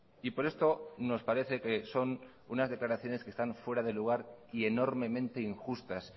y por esto nos parece que son unas declaraciones que están fuera de lugar y enormemente injustas